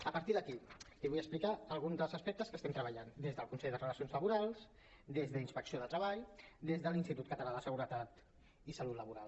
a partir d’aquí li vull explicar alguns dels aspectes que estem treballant des del consell de relacions laborals des d’inspecció de treball des de l’institut català de seguretat i salut laboral